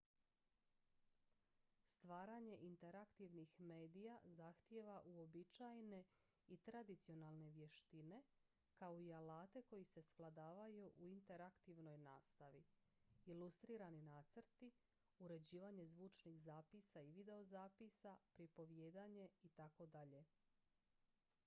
stvaranje interaktivnih medija zahtijeva uobičajene i tradicionalne vještine kao i alate koji se svladavaju u interaktivnoj nastavi ilustrirani nacrti uređivanje zvučnih zapisa i videozapisa pripovijedanje itd.